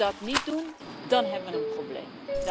Als we dat niet doen, dan hebben we een probleem.